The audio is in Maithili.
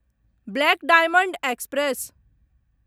black Diamond express